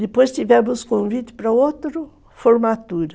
Depois tivemos convite para outra formatura.